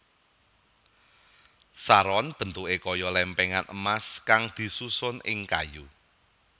Saron bentuké kaya lèmpèngan emas kang disusun ing kayu